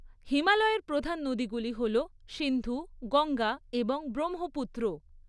হিমালয়ের প্রধান নদীগুলি হল সিন্ধু, গঙ্গা এবং ব্রহ্মপুত্র।